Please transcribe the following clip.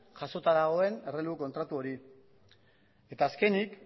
jasota dagoen errelebu kontratu hori eta azkenik